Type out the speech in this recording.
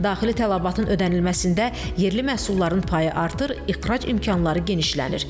Daxili tələbatın ödənilməsində yerli məhsulların payı artır, ixrac imkanları genişlənir.